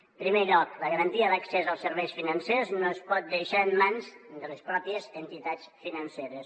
en primer lloc la garantia d’accés als serveis financers no es pot deixar en mans de les pròpies entitats financeres